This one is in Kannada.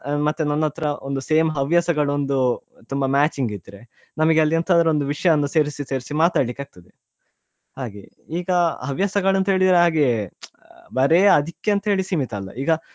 ಅ ಮತ್ತೆ ನನ್ನತ್ರ same ಹವ್ಯಾಸಗಳು ಒಂದು ತುಂಬಾ matching ಇದ್ರೆ ನಮ್ಗೆ ಅಲ್ಲಿ ಎಂತದ್ರೂ ಒಂದು ವಿಷ್ಯ ಸೇರಿಸಿ ಸೇರಿಸಿ ಮಾತಾಡ್ಲಿಕ್ಕೆ ಆಗ್ತದೇ ಹಾಗೆ ಈಗ ಹವ್ಯಾಸಗಳು ಅಂತ ಹೇಳಿದ್ರೆ ಹಾಗೆ ಬರೆ ಆದಿಕ್ಕೆ ಅಂತೆಳಿ ಸೀಮಿತ ಅಲ್ಲ ಈಗಾ.